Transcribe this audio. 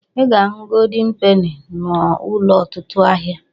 I ga-ahu goldin peni n'ụlọ ọtụtụ ahịa.